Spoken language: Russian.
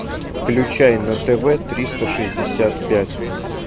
включай на тв триста шестьдесят пять